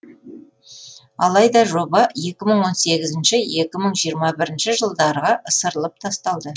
алайда жоба екі мың он сегізінші екі мың жиырма бірінші жылдарға ысырылып тасталды